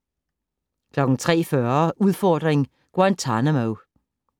03:40: Udfordring: Guantanamo